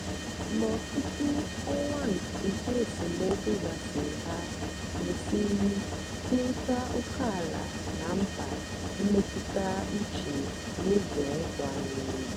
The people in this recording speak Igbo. mgbe ọtụtụ ọnwa nke esemokwu gasịrị ha mesịrị kwurịta ókèala na mkpa mmetụta uche n'ụzọ nkwanye ùgwù.